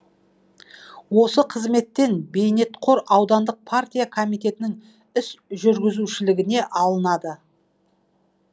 осы қызметтен бейнетқор аудандық партия комитетінің іс жүргізушілігіне алынады